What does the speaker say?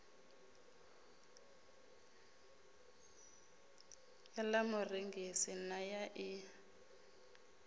ḽa murengisi na ya ḽi